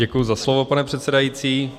Děkuji za slovo, pane předsedající.